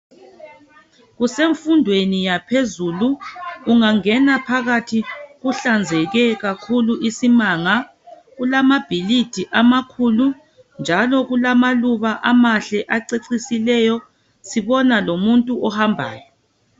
Kusemfundweni yaphezulu ungangena phakathi kuhlazenzeke kakhulu isimanga kulamabhilidi amakhulu njalo kulamaluba amahle acecisileyo sibona lomuntu ohambayo